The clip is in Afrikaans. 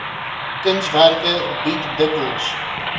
kunswerke bied dikwels